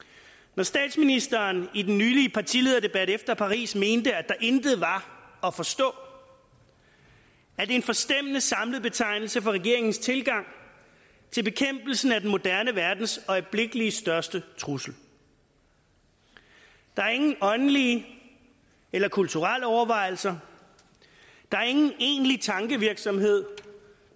når statsministeren i den nylig afholdte partilederdebat efter paris mente at der intet var at forstå er det en forstemmende samlet betegnelse for regeringens tilgang til bekæmpelsen af den moderne verdens øjeblikkelige største trussel der er ingen åndelige eller kulturelle overvejelser der er ingen egentlig tankevirksomhed